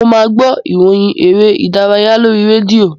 Mo máa gbọ́ ìròyìn eré-ìdárayá lórí rédíò.